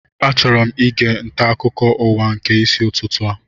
Achọrọ ige nta akụkọ ụwa nke isi ụtụtụ a